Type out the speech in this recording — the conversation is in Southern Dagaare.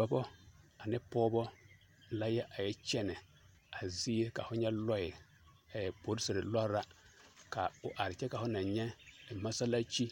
Dɔbɔ ane pɔɔbɔ la a yɛ kyɛnɛ a zie ka fo nyɛ lɔɛ ɛɛ poriserre lɔre la ka o are kyɛ ka fo naŋ nyɛ masalaakyi